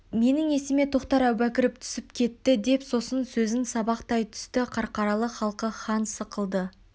менің есіме тоқтар әубәкіров түсіп кетті деп сосын сөзін сабақтай түсті қарқаралы халқы хан сықылды